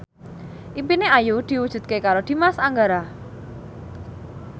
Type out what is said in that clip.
impine Ayu diwujudke karo Dimas Anggara